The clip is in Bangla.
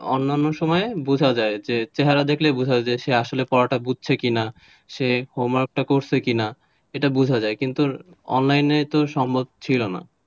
অন্যান্য সময় বোঝা যায় চেহারা দেখলেই বোঝা যায় সে আসলে পড়াটা বুঝছে কিনা? সে homework টা করছে কিনা এটা বোঝা যায় কিন্তু online তো সম্ভব ছিল না,